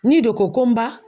N'i de ko ko n ba